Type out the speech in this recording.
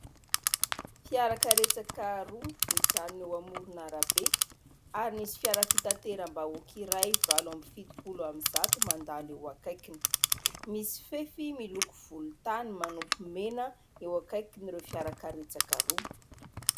Fiara karetsaka roa mijanona eo amoron'arabe, ary misy fiara fitateram-bahoaka iray valo amby fitopolo amby zato mandalo eo akaikiny. Misy fefy miloko volontany manopy mena eo akaikin'ireo fiara karetsaka roa.